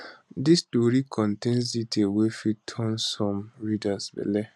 dis tori contains details wey fit turn some readers belle